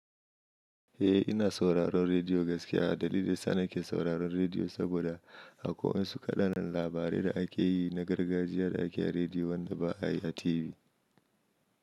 Eh ina sauraron rediyo gaskiya dalilin sa na ke sauraron rediyo saboda akwai wasu kaɗan labarai da ake yi na gargajiya da ake yi a rediyo wanda ba a yi a TV.